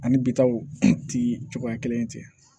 Ani bitaaw ti cogoya kelen ye ten